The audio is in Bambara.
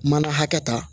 Mana hakɛ ta